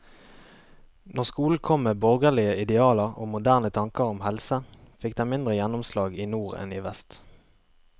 Når skolen kom med borgerlige idealer og moderne tanker om helse, fikk den mindre gjennomslag i nord enn i vest.